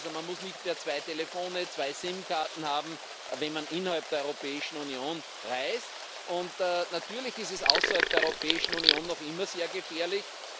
Also muss man nicht mehr zwei Telefone, zwei SIM-Karten haben, wenn man innerhalb der Europäischen Union reist Natürlich ist es außerhalb der Europäischen Union noch immer sehr gefährlich.